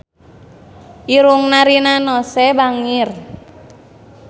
Irungna Rina Nose bangir